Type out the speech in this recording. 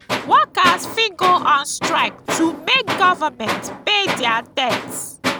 workers fit go on strike to make government pay their debts